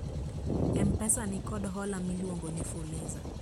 m-pesa nikod hola miluongo ni fuliza